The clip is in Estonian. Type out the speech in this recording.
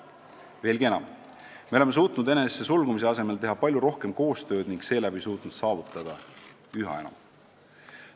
Veelgi enam, me oleme suutnud enesesse sulgumise asemel teha palju rohkem koostööd ning seeläbi suutnud saavutada üha enam.